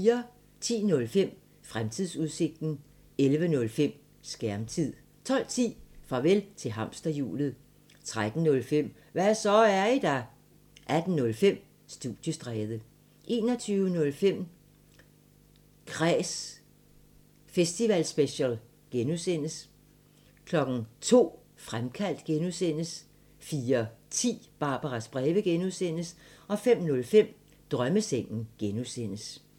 10:05: Fremtidsudsigten 11:05: Skærmtid 12:10: Farvel til hamsterhjulet 13:05: Hva' så, er I der? 18:05: Studiestræde 21:05: Kræs festivalspecial (G) 02:00: Fremkaldt (G) 04:10: Barbaras breve (G) 05:05: Drømmesengen (G)